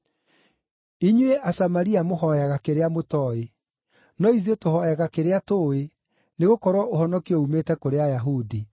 Inyuĩ Asamaria mũhooyaga kĩrĩa mũtooĩ; no ithuĩ tũhooyaga kĩrĩa tũũĩ, nĩgũkorwo ũhonokio uumĩte kũrĩ Ayahudi.